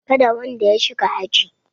Kada wanda ya shiga aji!